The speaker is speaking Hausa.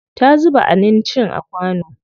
Ta zuba anincin a kwano.